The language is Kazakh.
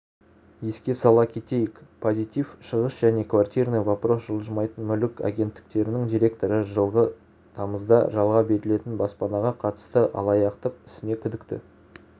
еске сала кетейік позитив шығыс және квартирный вопрос жылжымайтын мүлік агенттіктерінің директоры жылғы тамызда жалға берілетін баспанаға қатысты алаяқтық ісіне күдікті